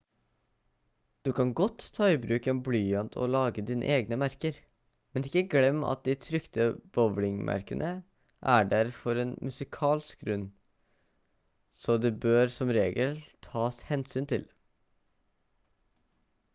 du kan godt ta i bruk en blyant og lage dine egne merker men ikke glem at de trykte bowing-merkene er der for en musikalsk grunn så de bør som regel tas hensyn til